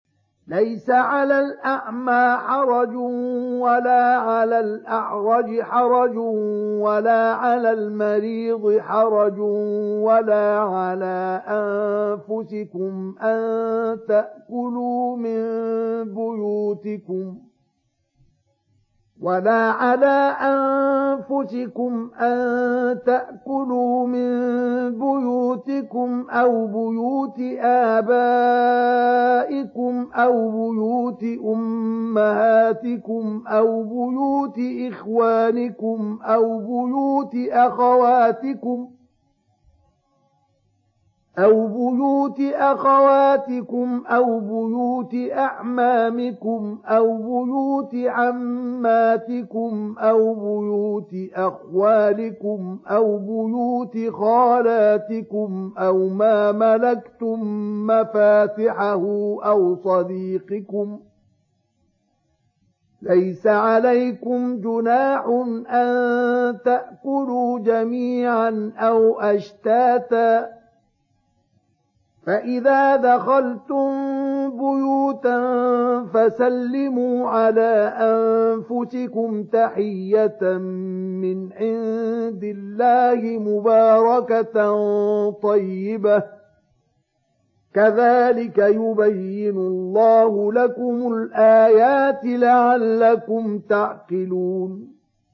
لَّيْسَ عَلَى الْأَعْمَىٰ حَرَجٌ وَلَا عَلَى الْأَعْرَجِ حَرَجٌ وَلَا عَلَى الْمَرِيضِ حَرَجٌ وَلَا عَلَىٰ أَنفُسِكُمْ أَن تَأْكُلُوا مِن بُيُوتِكُمْ أَوْ بُيُوتِ آبَائِكُمْ أَوْ بُيُوتِ أُمَّهَاتِكُمْ أَوْ بُيُوتِ إِخْوَانِكُمْ أَوْ بُيُوتِ أَخَوَاتِكُمْ أَوْ بُيُوتِ أَعْمَامِكُمْ أَوْ بُيُوتِ عَمَّاتِكُمْ أَوْ بُيُوتِ أَخْوَالِكُمْ أَوْ بُيُوتِ خَالَاتِكُمْ أَوْ مَا مَلَكْتُم مَّفَاتِحَهُ أَوْ صَدِيقِكُمْ ۚ لَيْسَ عَلَيْكُمْ جُنَاحٌ أَن تَأْكُلُوا جَمِيعًا أَوْ أَشْتَاتًا ۚ فَإِذَا دَخَلْتُم بُيُوتًا فَسَلِّمُوا عَلَىٰ أَنفُسِكُمْ تَحِيَّةً مِّنْ عِندِ اللَّهِ مُبَارَكَةً طَيِّبَةً ۚ كَذَٰلِكَ يُبَيِّنُ اللَّهُ لَكُمُ الْآيَاتِ لَعَلَّكُمْ تَعْقِلُونَ